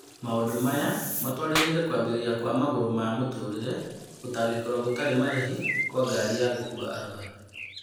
Maũndũ maya matũarĩrĩire kũambĩrĩria kwa Magũrũ ma Mũtũrĩre - gũtangĩkĩrwo gũtarĩ marĩhi kwa ngari ya gũkuwa arũaru.